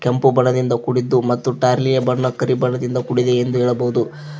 ಕೆಂಪು ಬಣ್ಣದಿಂದ ಕೂಡಿದ್ದು ಮತ್ತು ಟ್ರಯ್ಲಿಯ ಬಣ್ಣ ಕರಿ ಬಣ್ಣದಿಂದ ಕೂಡಿದೆ ಎಂದು ಹೇಳಬಹುದು.